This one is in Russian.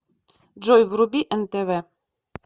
джой вруби нтв